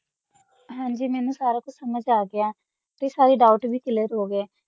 ਸਮਾਜ ਆ ਗਯਾ ਆ ਸਾਰਾ ਦੋਉਘ੍ਤ ਵੀ ਕਲੇਅਰ ਹੋ ਗਯਾ ਨਾ